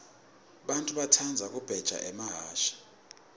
bantfu batsandza kubheja emahhashi